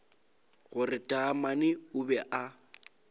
gore taamane o be a